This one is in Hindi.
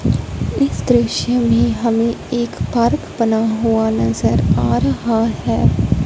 इस दृश्य में हमें एक पार्क बना हुआ नजर आ रहा है।